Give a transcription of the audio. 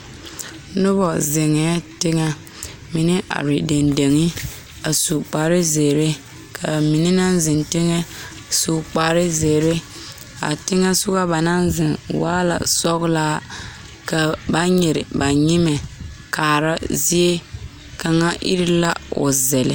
Noba zeŋee teŋa mine are dendeŋe a su kpar zeere ka ba mine naŋ zeŋ teŋa su kpar zeere a teŋa soɔ ba naŋ zeŋ waa la sɔgelaa ka ba nyere ba nyemɛ kaara zie kaŋa iri la o sele